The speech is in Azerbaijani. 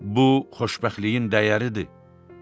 Bu xoşbəxtliyin dəyəridir.